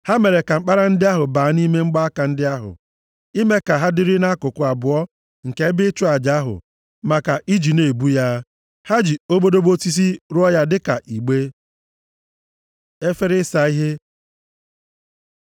Ha mere ka mkpara ndị ahụ baa nʼime mgbaaka ndị ahụ, ime ka ha dịrị nʼakụkụ abụọ nke ebe ịchụ aja ahụ maka iji nʼebu ya. Ha ji obodobo osisi rụọ ya dịka igbe. Efere ịsa ihe